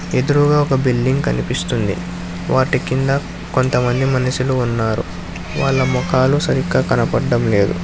ఎదురుగ ఒక బిల్డింగ్ కనిపిస్తుంది వాటి కింద కొంతమంది మనుషులు ఉన్నారు వాళ్ళ మొఖాలు సరిగ్గా కనపడం లేదు.